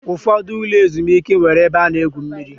Ụfọdụ ụlọ ezumike nwere ebe a na-egwu mmiri